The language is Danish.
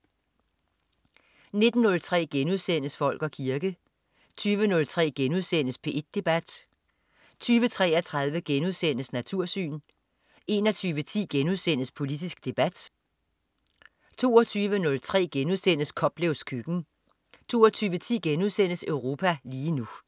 19.03 Folk og kirke* 20.03 P1 Debat* 20.33 Natursyn* 21.10 Politisk debat* 22.03 Koplevs køkken* 22.10 Europa lige nu*